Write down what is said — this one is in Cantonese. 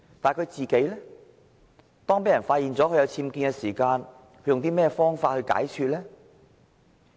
當他被人發現有僭建問題時，他是用甚麼方法來解說的呢？